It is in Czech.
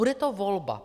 Bude to volba.